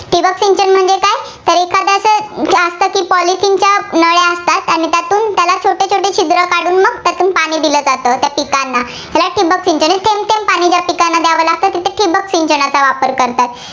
जास्त ठिकाणी तीन चार नळ्या असतात त्यातून त्याला छोटे छोटे छिद्र पाडून मग पण पाणी दिलं जातं, त्या पिकांना या ठिबक सिंचनने थेंबथेब पाणी त्या पिकांना द्यावं लागतं, तिथे ठिबक सिंचनचा वापर करतात.